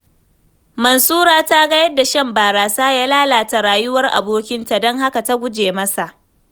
Mansura ta ga yadda shan barasa ya lalata rayuwar abokinta, don haka ta guje masa.